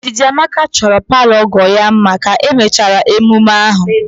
Ndidamaka chọrọ palọ ọgọ ya mma ka emechara emume ahụ